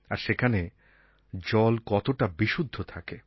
আর সেখানে জল কতটা বিশুদ্ধ থাকে